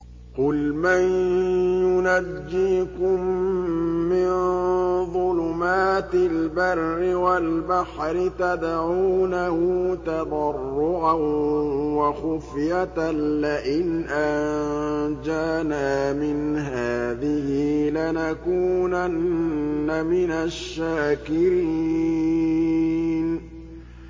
قُلْ مَن يُنَجِّيكُم مِّن ظُلُمَاتِ الْبَرِّ وَالْبَحْرِ تَدْعُونَهُ تَضَرُّعًا وَخُفْيَةً لَّئِنْ أَنجَانَا مِنْ هَٰذِهِ لَنَكُونَنَّ مِنَ الشَّاكِرِينَ